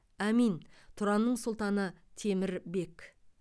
әмин тұранның сұлтаны темір бек